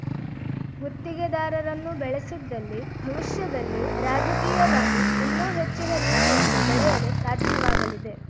ಗುತ್ತಿಗೆದಾರರನ್ನು ಬೆಳೆಸಿದ್ದಲ್ಲಿ ಭವಿಷ್ಯದಲ್ಲಿ ರಾಜಕೀಯವಾಗಿ ಇನ್ನೂ ಹೆಚ್ಚಿನ ರೀತಿಯಲ್ಲಿ ಬೆಳೆಯಲು ಸಾಧ್ಯವಾಗಲಿದೆ